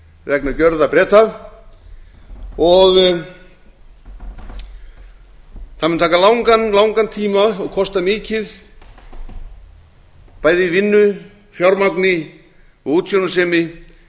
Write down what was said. vegna gjörða breta og það mun taka langan langan tíma og kosta mikið bæði í vinnu fjármagni og útsjónarsemi